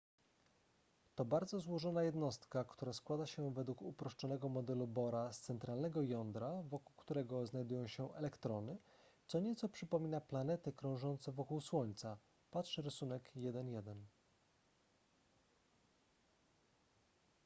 to bardzo złożona jednostka która składa się według uproszczonego modelu bohra z centralnego jądra wokół którego znajdują się elektrony co nieco przypomina planety krążące wokół słońca patrz rysunek 1.1